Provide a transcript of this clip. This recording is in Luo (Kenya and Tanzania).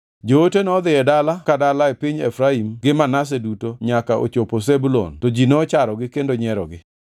Joote nodhi e dala ka dala e piny Efraim gi Manase duto nyaka ochopo Zebulun to ji nocharogi kendo nyierogi.